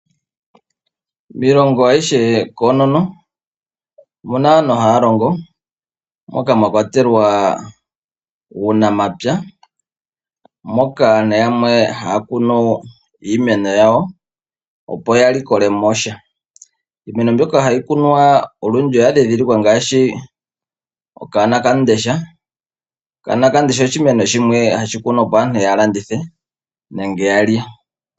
Miilongo ayihe koonono, omuna aantu haa longo ,moka mwa kwatelwa uunamapya, moka aantu yamwe haa kunu iimeno yawo, opo ya likole mo sha. Iimeno mbyoka hayi kunwa olwindji oya dhidhilikwa ngaashi okanakamundesha, okanakamundesha oshimeno shimwe hashi kunwa opo aantu ya landithe, nenge ya lye.